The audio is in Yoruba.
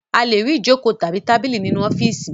A le rí ìjókòó àti tábìlì nínú ọ́fíísì.